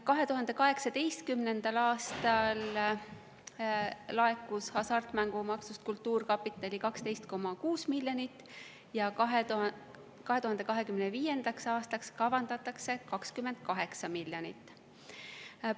2018. aastal laekus hasartmängumaksust kultuurkapitali 12,6 miljonit eurot ja 2025. aastaks kavandatakse 28 miljonit eurot.